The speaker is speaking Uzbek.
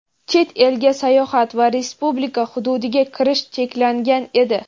chet elga sayohat va Respublika hududiga kirish cheklangan edi.